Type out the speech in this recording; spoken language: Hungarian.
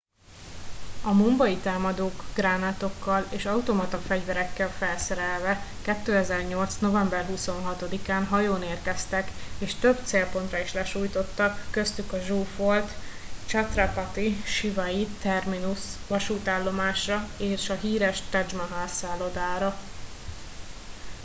a mumbai támadók gránátokkal és automata fegyverekkel felszerelve 2008. november 26 án hajón érkeztek és több célpontra is lesújtottak köztük a zsúfolt chhatrapati shivaji terminus vasútállomásra és a híres taj mahal szállodára